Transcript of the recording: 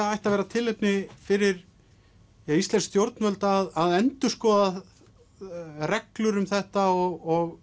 ætti að vera tilefni fyrir íslensk stjórnvöld að endurskoða reglur um þetta og